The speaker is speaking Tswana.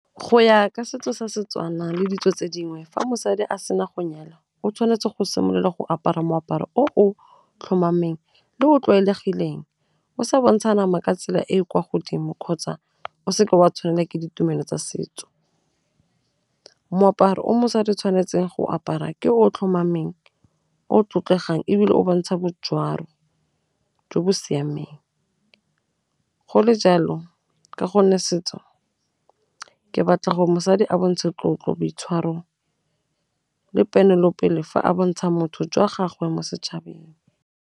Go ya ka setso sa Setswana le ditso tse dingwe fa mosadi a sena go nyalwa, o tshwanetse go simolola go apara moaparo o tlhomameng le o o tlwaelegileng, o sa bontsha nama ka tsela e e kwa godimo kgotsa o seke wa tshwanela ke ditumelo tsa setso. Moaparo o mosadi tshwanetseng go apara ke o tlhomameng, o tlotlegang ebile o bontsha botšwalo jo bo siameng, go le jalo ka gonne setso ke batla gore mosadi a bontshe tlotlo, boitshwaro le ponelopele fa a bontsha motho jwa gagwe mo setšhabeng.